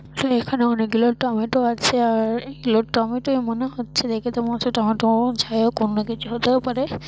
এ এখানে অনেকগুলো টমেটো আছে আর এগুলো টমেটোই মনে হচ্ছে দেখে তো মনে হচ্ছে টোমেটো -ও যাইহোক অন্য কিছু হতেও পারে।